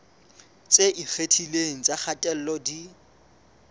tse ikgethileng tsa kgatello di